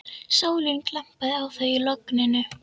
Sólin glampaði á þau í logninu.